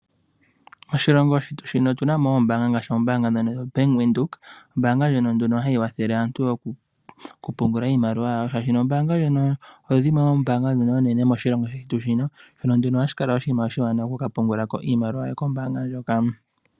Oshilongo shino otu na mo oombaanga, ngaashi oombaanga ndhono dha Bank Windhoek. Ombaanga ndjono hayi kwathele aantu okupungula iimaliwa, yawo, shaashino ombaanga ndjino oyo yimwe yomoombaanga ndhono oonene moshilongo shetu, nohashi kala oshiwanawa oku ka pungulako oshimaliwa shoye kombaanga ndjoka.